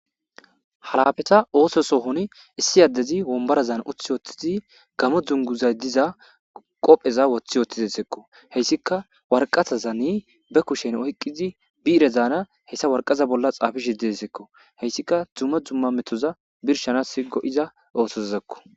Halafeta ooso sohon issi addezi wombara zaana uth wooththizi gamo dzunguzay diza qopheza wothi yoothtizesekko heyssika warqazazani be kushen oyqqizi biire zaana hessa warqaza bolla xaafi hidisekko heyssika dzumma dzumma metoza birshana si go'iza oosozzekko